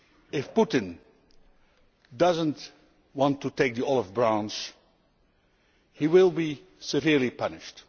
If Putin does not want to take the olive branch he will be severely punished.